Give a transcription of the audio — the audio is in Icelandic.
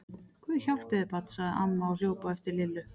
Guð hjálpi þér barn! sagði amma og hljóp á eftir Lillu.